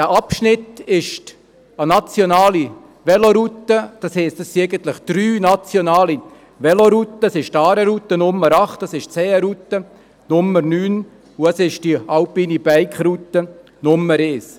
Dieser Abschnitt ist eine nationale Veloroute, das heisst, eigentlich sind es drei nationale Velorouten, nämlich die Aare-Route mit der Nummer 8, die Seen-Route mit der Nummer 9 und die Alpine-BikeRoute Nummer 1.